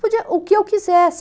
Podia o que eu quisesse.